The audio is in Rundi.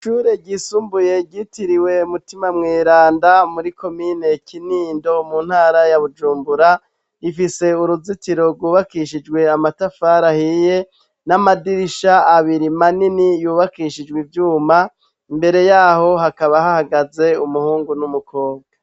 Ishure ryisumbuye ryitiriwe mutima mweranda muri komine Kinindo mu ntara ya Bujumbura ifise uruzitiro rwubakishijwe amatafari ahiye n'amadirisha abiri manini yubakishijwe ivyuma imbere yaho hakaba hahagaze umuhungu n'umukobwa.